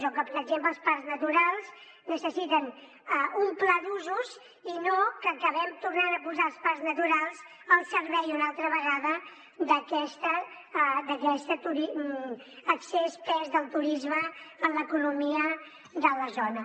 o que per exemple els parcs naturals necessiten un pla d’usos i no que acabem tornant a posar els parcs naturals al servei una altra vegada d’aquest excessiu pes del turisme en l’economia de la zona